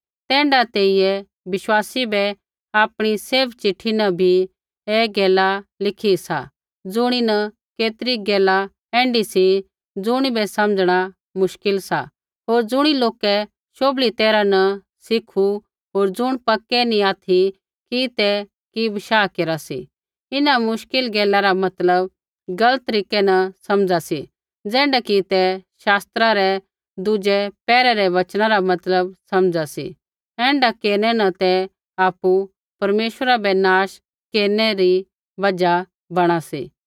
तैण्ढाऐ तेइयै विश्वासी बै आपणी सैभ चिट्ठी न भी ऐ गैला लिखी सा ज़ुणीन केतरी गैला ऐण्ढी सी ज़ुणिबै समझ़णा मुश्किल सा होर ज़ुणी लोकै शोभली तैरहा नी सिखु होर ज़ुण पक्कै नी ऑथि की ते कि बशाह केरा सी इन्हां मुश्किल गैला रा मतलब गलत तरीकै न समझा सी ज़ैण्ढै की ते शास्त्रा रै दुज़ै पैहरै रै वचना रा मतलब समझा सी ऐण्ढा केरनै न ते आपु परमेश्वरा बै नाश केरनै री बजहा बणा सी